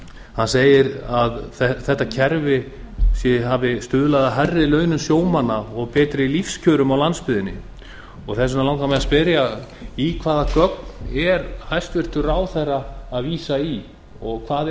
hann segir að þetta kerfi hafi stuðlað að hærri launum sjómanna og betri lífskjörum á landsbyggðinni þess vegna langar mig að spyrja í hvaða gögn er hæstvirtur ráðherra að vísa og hvað